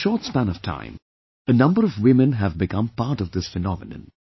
In a short span of time, a umber of women have become part of this phenomenon